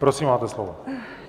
Prosím, máte slovo.